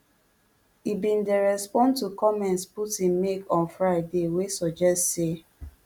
e bin dey respond to comments putin make on friday wey suggest say